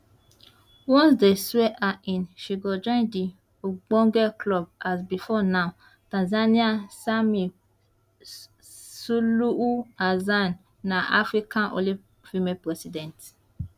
once dey swear her in she go join di ogbonge club as before now tanzania samia suluhu hassan na africa only female president